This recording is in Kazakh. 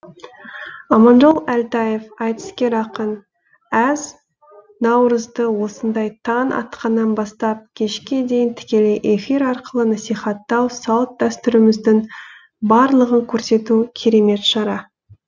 аманжол әлтаев айтыскер ақын әз наурызды осындай таң атқаннан бастап кешке дейін тікелей эфир арқылы насихаттау салт дәстүріміздің барлығын көрсету керемет шара